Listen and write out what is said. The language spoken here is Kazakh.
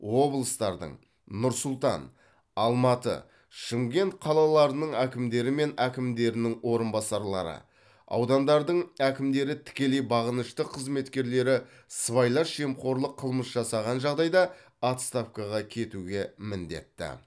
облыстардың нұр сұлтан алматы шымкент қалаларының әкімдері мен әкімдерінің орынбасарлары аудандардың әкімдері тікелей бағынышты қызметкерлері сыбайлас жемқорлық қылмыс жасаған жағдайда отставкаға кетуге міндетті